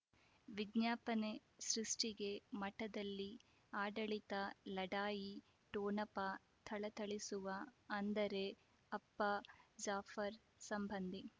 ವಿಜ್ಞಾಪನೆ ಸೃಷ್ಟಿಗೆ ಮಠದಲ್ಲಿ ಆಡಳಿತ ಲಢಾಯಿ ಠೊಣಪ ಥಳಥಳಿಸುವ ಅಂದರೆ ಅಪ್ಪ ಜಾಫರ್ ಸಂಬಂಧಿ